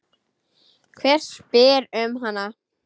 Hver spyr um hana?